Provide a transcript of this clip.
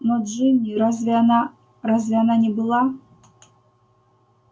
но джинни разве она разве она не была